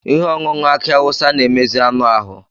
Ihe ọṅụṅụ aki awụsa na-emezi anụ ahụ.